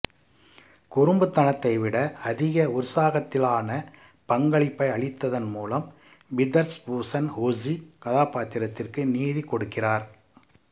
குறும்புத்தனத்தை விட அதிக உற்சாகத்திலான பங்களிப்பை அளித்ததன் மூலம் விதர்ஸ்பூன் ஜூஸி கதாப்பாத்திரத்திற்கு நீதி கொடுக்கிறார்